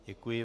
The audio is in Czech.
Děkuji.